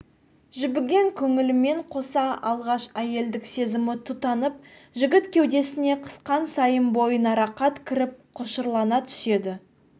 жібіген көңілімен қоса алғаш әйелдік сезімі тұтанып жігіт кеудесіне қысқан сайын бойына рақат кіріп құшырлана түседі